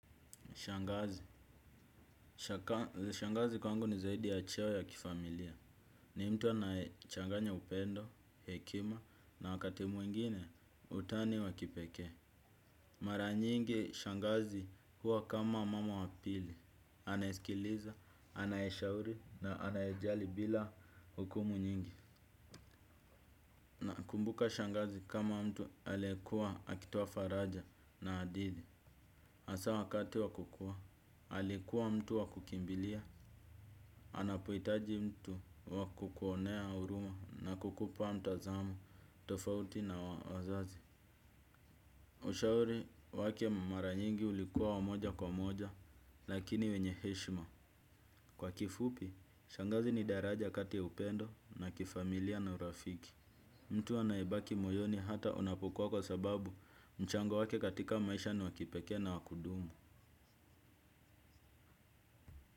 Shangazi. Shangazi kwangu ni zaidi ya cheo ya kifamilia. Ni mtu anayechanganya upendo, hekima na wakati mwingine utani wa kipekee. Mara nyingi shangazi huwa kama mama wapili. Anayesikiliza, anayeshauri na anayejali bila hukumu nyingi. Kumbuka shangazi kama mtu aliekua akitoa faraja na hadithi. Asa wakati wa kukua, alikuwa mtu wa kukimbilia. Anapohitaji mtu wa kukuonea huruma na kukupa mtazamo tofauti na wazazi. Ushauri wake mara nyingi ulikuwa wa moja kwa moja lakini wenye heshima. Kwa kifupi, shangazi ni daraja kati ya upendo na kifamilia na urafiki. Mtu anayebaki moyoni hata unapukua kwa sababu mchango wake katika maisha ni wa kipekee na wa kudumu.